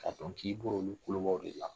K'a dɔn k'i bɔlo olu kolobaw de la!